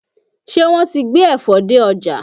Ṣé wọ́n ti gbé ẹ̀fọ dé ọjà?